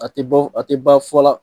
A tɛ bɛn a tɛ ban fɔla